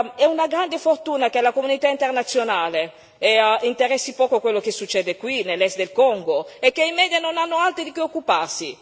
È una grande fortuna che alla comunità internazionale interessi poco quello che succede qui, nell'est del Congo, e che i media hanno altro di cui occuparsi.